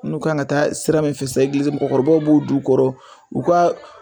N'u ka kan ka taa sira min fɛ sa, egilizi, mɔgɔkɔrɔba b'o d'u kɔrɔ, u ka